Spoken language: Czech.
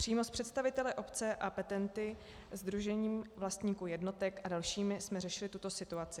Přímo s představiteli obce a petenty, Sdružením vlastníků jednotek a dalšími jsme řešili tuto situaci.